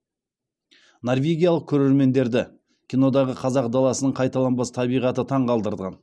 норвегиялық көрермендерді кинодағы қазақ даласының қайталанбас табиғаты таңқалдырған